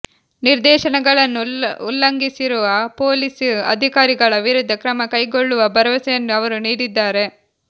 ನಿರ್ದೇಶನಗಳನ್ನು ಉಲ್ಲಂಘಿಸಿರುವ ಪೊಲೀಸ್ ಅಧಿಕಾರಿಗಳ ವಿರುದ್ಧ ಕ್ರಮ ಕೈಗೊಳ್ಳುವ ಭರವಸೆಯನ್ನು ಅವರು ನೀಡಿದ್ದಾರೆ